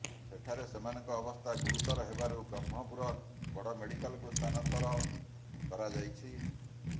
ସେଠାରେ ସେମାନଙ୍କ ଅବସ୍ଥା ଗୁରୁତର ହେବାରୁ ବ୍ରହ୍ମପୁର ବଡମେଡିକାଲକୁ ସ୍ଥାନାନ୍ତର କରାଯାଇଛି